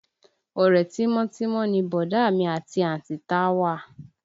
Ọ̀rẹ́ tímọ́tímọ́ ni bọ̀dá mi àti àǹtí Táwà